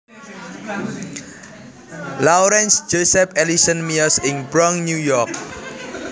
Lawrence Joseph Ellison miyos ing Bronx New York